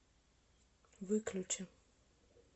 выключи